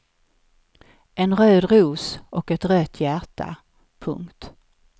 En röd ros och ett rött hjärta. punkt